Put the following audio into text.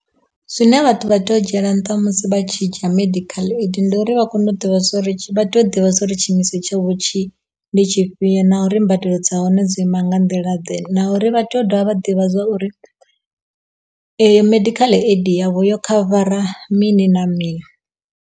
Zwine vhathu vha tea u dzhiela nṱha musi vha tshi dzhia medical aid ndi uri vha kone u ḓivha uri vha tea u ḓivha uri tshiimiswa tsha vho ndi tshifhio na uri mbadelo dza hone dzo ima nga nḓila ḓe na uri vha tea u dovha vha ḓivha zwa uri eyo medical aid yavho yo khavara mini na mini.